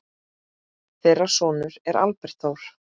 Þeirra sonur er Albert Þór.